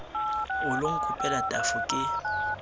o lo nkopela tafo ke